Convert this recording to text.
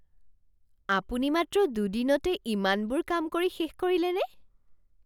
আপুনি মাত্ৰ দুদিনতে ইমানবোৰ কাম কৰি শেষ কৰিলেনে?